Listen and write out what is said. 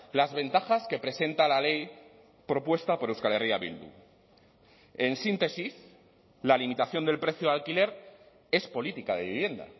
las ventajas que presenta la ley propuesta por euskal herria bildu en síntesis la limitación del precio de alquiler es política de vivienda